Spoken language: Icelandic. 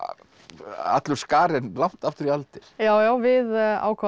allur skarinn langt aftur í aldir já já við ákváðum